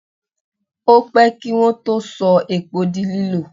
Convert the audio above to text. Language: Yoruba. Ó pẹ́ kí Wọ́n tó sọ epo di lílò.